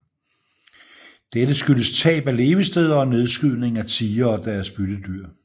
Dette skyldtes tab af levesteder og nedskydningen af tigre og deres byttedyr